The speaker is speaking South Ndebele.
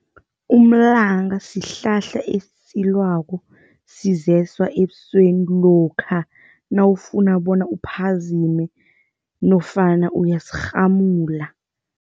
Umlanga sihlahla esitjalwako sizeswa ebusweni lokha nawufuna bona uphazime nofana uyasirhamula.